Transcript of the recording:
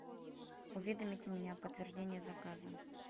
уведомите меня о подтверждении заказа